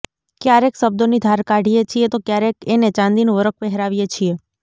ક્યારેક શબ્દોની ધાર કાઢીએ છીએ તો ક્યારેક એને ચાંદીનું વરખ પહેરાવીએ છીએ